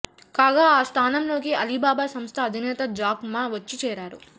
కాగా ఆ స్థానంలోకి అలీబాబా సంస్థ అధినేత జాక్ మా వచ్చి చేరారు